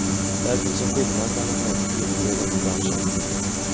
Där finns en skillnad mellan män och kvinnor i rockbranschen.